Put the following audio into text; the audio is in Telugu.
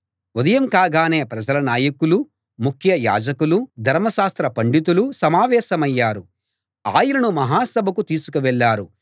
ఉదయం కాగానే ప్రజల నాయకులూ ముఖ్య యాజకులూ ధర్మశాస్త్ర పండితులూ సమావేశమయ్యారు ఆయనను మహాసభకు తీసుకువెళ్ళారు